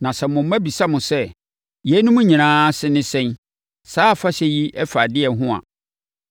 Na sɛ mo mma bisa mo sɛ, ‘Yeinom nyinaa ase ne sɛn; saa afahyɛ yi fa ɛdeɛn ho a,